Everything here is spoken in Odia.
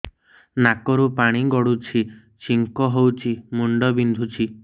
ନାକରୁ ପାଣି ଗଡୁଛି ଛିଙ୍କ ହଉଚି ମୁଣ୍ଡ ବିନ୍ଧୁଛି